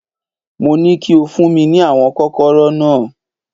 Mo ní kí o fún mi ní àwọn Kọ́kọ́rọ́ náà